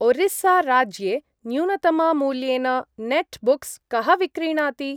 ओरिस्सा-राज्ये न्यूनतम-मूल्येन नेट्बुक्स् कः विक्रीणाति?